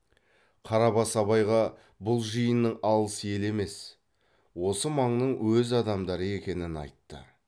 қарабас абайға бұл жиынның алыс ел емес осы маңның өз адамдары екенін айтты